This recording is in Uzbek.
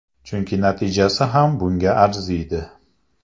Chunki natijasi ham bunga arziydi.